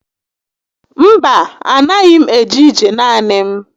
Mba, a na6ghi m eje ije naanị m